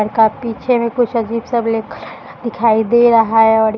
पीछे में कुछ अजीब-सा ब्लैक कलर का दिखाई दे रहा है और ये --